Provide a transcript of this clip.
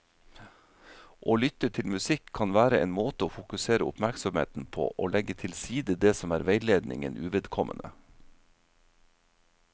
Å lytte til musikk kan være en måte å fokusere oppmerksomheten på og legge til side det som er veiledningen uvedkommende.